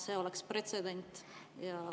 See oleks pretsedent.